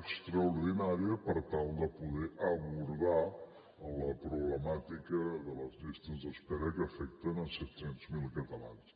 extraordinària per tal de poder abordar la problemàtica de les llistes d’espera que afecten set cents miler catalans